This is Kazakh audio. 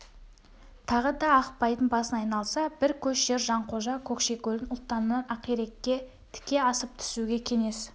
тағы да ақпайдың басын айналса бір көш жер жанқожа көкшекөлдің ұлтанынан ақирекке тіке асып түсуге кеңес